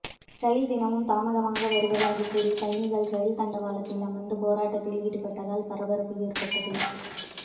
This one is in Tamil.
ரயில் தினமும் தாமதமாக வரவுவதாக கூறி பயணிகள் ரயில் தண்டவாளத்தில் அமர்ந்து போராட்டத்தில் ஈடுபட்டதால் பரப்பரப்பு ஏற்பட்டது